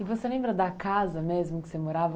E você lembra da casa mesmo que você morava?